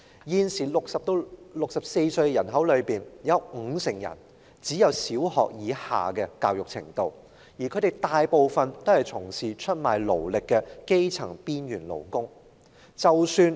現時60歲至64歲的人口中，有五成人只有小學或以下的教育程度，當中大部分均是出賣勞力的基層邊緣勞工。